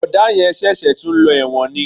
Bọ̀dá yẹn ṣẹ̀ṣẹ̀ tún ń lọ ẹ̀wọ̀n ni